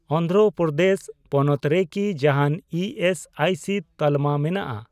ᱚᱱᱫᱷᱨᱚᱯᱨᱚᱫᱮᱥ ᱯᱚᱱᱚᱛ ᱨᱮᱠᱤ ᱡᱟᱦᱟᱱ ᱤ ᱮᱥ ᱟᱭ ᱥᱤ ᱛᱟᱞᱢᱟ ᱢᱮᱱᱟᱜᱼᱟ ?